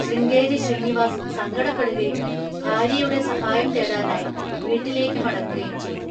ശൃംഗേരി ശ്രീനിവാസ് സങ്കടപ്പെടുകയും ഭാര്യയുടെ സഹായം തേടാനായി വീട്ടിലേക്ക് മടങ്ങുകയും ചെയ്തു.